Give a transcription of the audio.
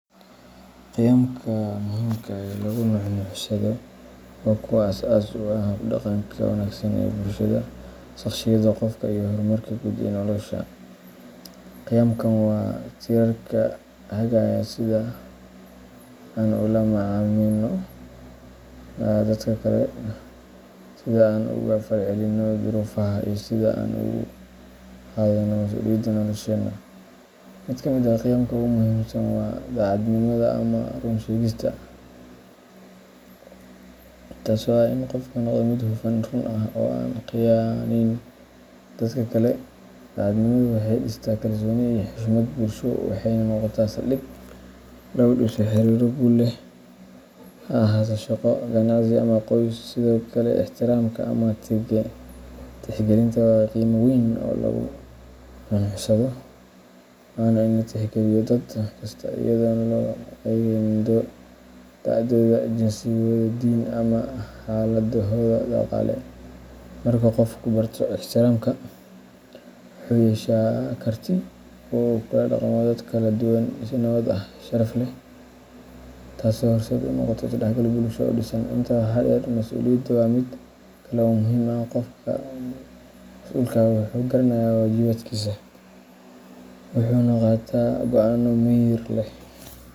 Qiyamka muhiimka ah ee lagu nuuxnuuxsado waa kuwa aas-aaska u ah hab-dhaqanka wanaagsan ee bulshada, shaqsiyadda qofka, iyo horumarka guud ee nolosha. Qiyamkan waa tiirarka hagaya sida aan ula macaamilno dadka kale, sida aan uga falcelinno duruufaha, iyo sida aan u qaadanno mas’uuliyadda nolosheena. Mid ka mid ah qiyamka ugu muhiimsan waa daacadnimada ama run sheegista, taasoo ah in qofku noqdo mid hufan, run ah, oo aan khiyaanayn dadka kale. Daacadnimadu waxay dhistaa kalsooni iyo xushmad bulsho, waxayna noqotaa saldhig lagu dhiso xiriirro guul leh, ha ahaato shaqo, ganacsi ama qoys. Sidoo kale, ixtiraamka ama tixgelinta waa qiime weyn oo lagu nuuxnuuxsado, waana in la tixgeliyo dad kasta, iyadoon loo eegaynin da'dooda, jinsigooda, diin ama xaaladdooda dhaqaale. Marka qofku barto ixtiraamka, wuxuu yeeshaa karti uu kula dhaqmo dad kala duwan si nabad ah oo sharaf leh, taasoo horseed u noqota is-dhexgal bulsho oo dhisan. Intaa waxaa dheer, masuuliyadda waa mid kale oo muhiim ah qofka mas’uulka ah wuxuu garanayaa waajibaadkiisa, wuxuuna qaataa go’aano miyir leh,